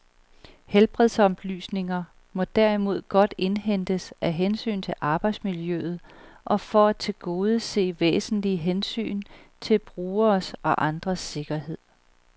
Helbredsoplysninger må derimod godt indhentes af hensyn til arbejdsmiljøet og for at tilgodese væsentlige hensyn til forbrugeres og andres sikkerhed.